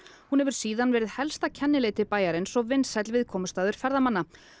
hún hefur síðan verið helsta kennileiti bæjarins og vinsæll viðkomustaður ferðamanna